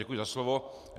Děkuji za slovo.